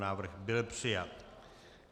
Návrh byl přijat.